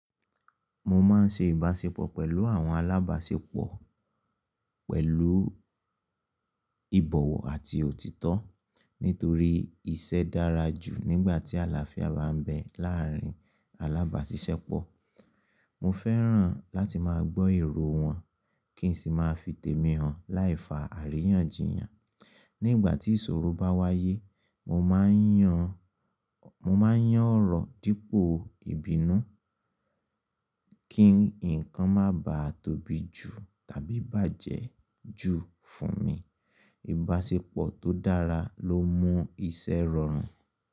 Mo máa ń ṣe ìbáṣepọ̀ pẹ̀lú àwọn alábáṣepọ̀ pẹ̀lú ìbọ̀wọ̀ àti òtítọ́. Nítorí iṣẹ́ dára jù nígbà tí àlàáfíà bá ń bẹ láàárín alábáṣiṣẹ́pọ̀. Mo fẹ́ràn láti máa gbọ́ èrò wọn kín sì máa fi tèmi hàn láìfa àríyànjiyàn. Nígbà tí ìṣòro bá wáyé, mo máa ń yan, mo máa ń yàn ọ̀rọ̀ dípò ìbínú kín nǹkan má bà tóbi jù tàbí bàjẹ́ jù fún mi. Ìbáṣepọ̀ tó dára ló mú iṣẹ́ rọrùn.